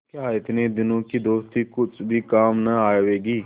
क्या इतने दिनों की दोस्ती कुछ भी काम न आवेगी